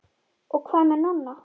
Og hvað með Nonna?